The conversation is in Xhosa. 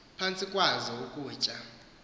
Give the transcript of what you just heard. phantsi kwazo ukutya